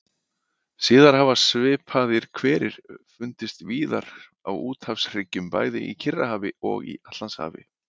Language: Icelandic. Síðar hafa svipaðir hverir fundist víðar á úthafshryggjunum, bæði í Kyrrahafi og í Atlantshafi.